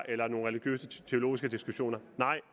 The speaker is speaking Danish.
eller er nogle religiøse teologiske diskussioner